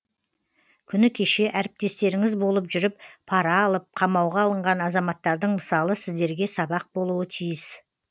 күні кеше әріптестеріңіз болып жүріп пара алып қамауға алынған азаматтардың мысалы сіздерге сабақ болуы тиіс